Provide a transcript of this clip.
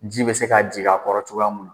Ji bɛ se k'a jigin a kɔrɔ cogoya mun na